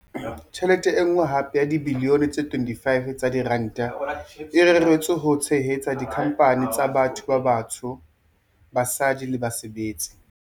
Tjhelete e nngwe hape ya dibilione tse 25 tsa diranta e reretswe ho tshehetsa dikhampani tsa batho ba batsho, basadi le basebetsi.